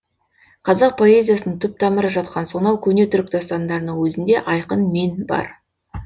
қазақ поэзиясының түп тамыры жатқан сонау көне түрік дастандарының өзінде айқын мен бар